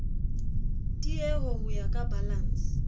tieho ho ya ka balanse